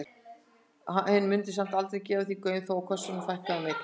Hún mundi samt aldrei gefa því gaum þó að kössunum fækkaði um einn.